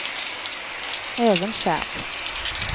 Evenskjer